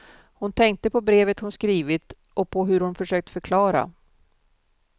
Hon tänkte på brevet hon skrivit, och på hur hon försökt förklara.